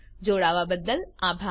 જોડાવા બદ્દલ આભાર